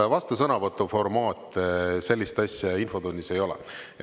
Vastusõnavõtu formaati infotunnis ei ole.